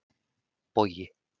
Bogi